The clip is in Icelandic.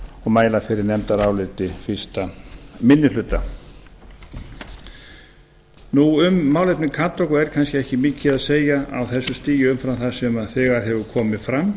og mæla fyrir nefndaráliti fyrsti minni hluta um málefni kadeco er kannski ekki mikið að segja á þessu stigi umfram það sem þegar hefur komið fram